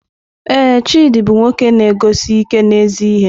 Ee, Chidi bụ nwoke na-eguzosi ike n'ezi ihe.